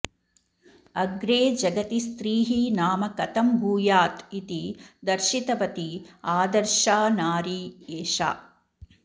अग्रे जगति स्त्रीः नाम कथं भूयात् इति दर्शितवती आदर्शा नारी एषा